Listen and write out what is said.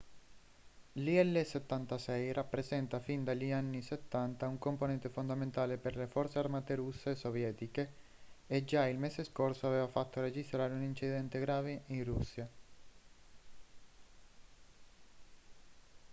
l'il-76 rappresenta fin dagli anni 70 un componente fondamentale per le forze armate russe e sovietiche e già il mese scorso aveva fatto registrare un incidente grave in russia